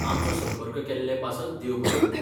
आमचो संपर्क केल्ले पासत देव बरें करूं.